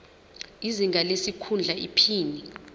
izinga lesikhundla iphini